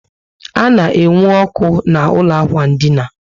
A na enwe ọkụ na ụlọ ákwà dina